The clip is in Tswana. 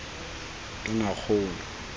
tonakgolo